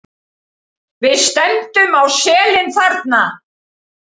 Við stefndum á selin þarna.